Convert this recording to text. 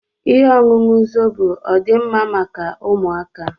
Ihe ọṅụṅụ Zobo ọdi mma maka ụmụaka?